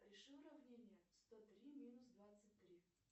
реши уравнение сто три минус двадцать три